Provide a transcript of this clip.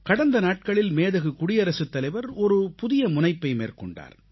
கடந்த நாட்களில் மேதகு குடியரசுத் தலைவர் ஒரு புதிய முனைப்பை மேற்கொண்டார்